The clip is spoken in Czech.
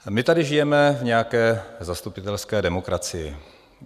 My tady žijeme v nějaké zastupitelské demokracii.